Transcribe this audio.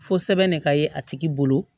Fo sɛbɛn ne ka ye a tigi bolo